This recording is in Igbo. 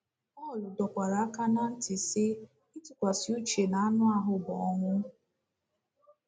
Pọl dọkwara aka ná ntị, sị: “ Ịtụkwasị uche n’anụ ahụ bụ ọnwụ. ”